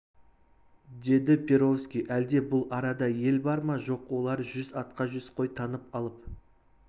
деді перовский әлде бұл арада ел бар ма жоқ олар жүз атқа жүз қой таңып алып